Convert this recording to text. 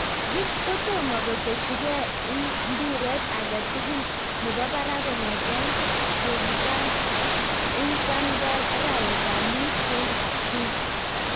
Giggs kotomo koteshige ing mpiret age tugulnebo barak kong'ete kebutan ing Van Gaal arawet ab mut 2016.